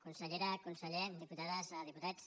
consellera conseller diputades diputats